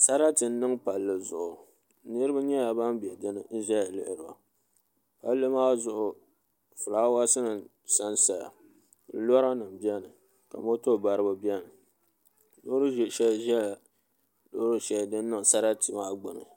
Sarati n niŋ palli zuɣu niraba nyɛla ban bɛ dinni n ʒɛya lihiri ba palli maa zuɣu fulaawaasi nim sansaya lora nim biɛni moto baribi biɛni loori ʒiɛ shɛli ʒɛla loori shɛli din niŋ sarati maa gbuni